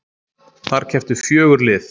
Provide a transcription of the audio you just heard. Þar kepptu fjögur lið